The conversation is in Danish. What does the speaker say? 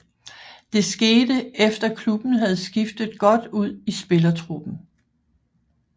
Det skete efter klubben havde skiftet godt ud i spillertruppen